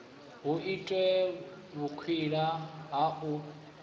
hu itwe vhukwila ha u